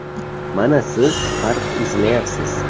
-Mana siz farq izlayapsiz.